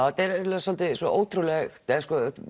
þetta er eiginlega svolítið ótrúlegt eða